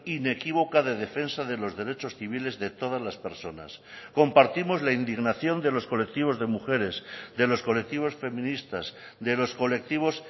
inequívoca de defensa de los derechos civiles de todas las personas compartimos la indignación de los colectivos de mujeres de los colectivos feministas de los colectivos